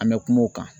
An bɛ kuma o kan